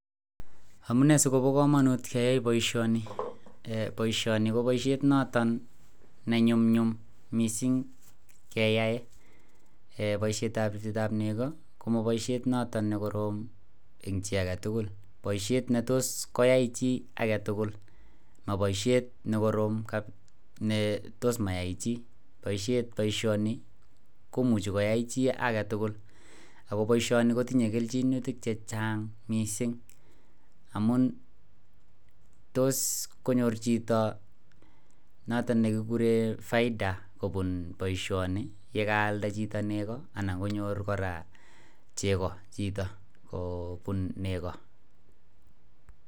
Amune sikoba kamanut keyai baishoni kobaishoni ko baishet noton nenyumnyum mising keyai baishet ab nego komabaishet noton nekorom en chi agetugul baishet netos koyai chi agetugul ma baishet nekorom kabisa NE tos mayai chi baishoni komuche koyai chi agetugul akobaishani kotinye kelchin chechang mising amun tos konyor Chito noton nekikuren faida kobun baishoni yekakwalda Chito nego anan konyor koraa chego Chito kobun nego